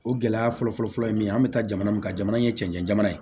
O gɛlɛya fɔlɔfɔlɔ ye min ye an bɛ taa jamana min kan jamana in ye cɛncɛn jamana ye